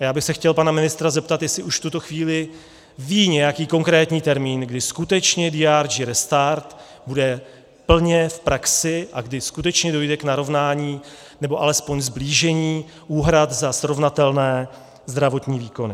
A já bych se chtěl pana ministra zeptat, jestli už v tuto chvíli ví nějaký konkrétní termín, kdy skutečně DRG restart bude plně v praxi a kdy skutečně dojde k narovnání, nebo alespoň sblížení úhrad za srovnatelné zdravotní výkony.